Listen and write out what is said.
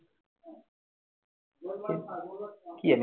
কি জানি